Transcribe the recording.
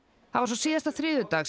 síðasta þriðjudag